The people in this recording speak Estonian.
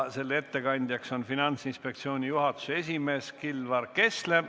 Ettekandja on Finantsinspektsiooni juhatuse esimees Kilvar Kessler.